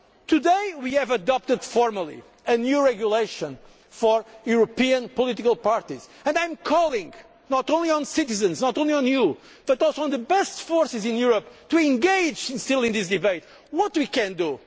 debate. Today we adopted formally a new regulation for European political parties and I am calling not only on citizens, not only on you, but also on the best forces in Europe to engage in this debate on what